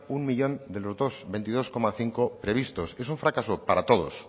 un millón de los veintidós coma cinco previstos es un fracaso para todos